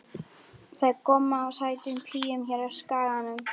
Það er gomma af sætum píum hér á Skaganum.